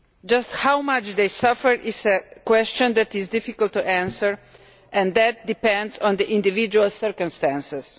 Just how much they suffer is a question that is difficult to answer and that depends on individual circumstances.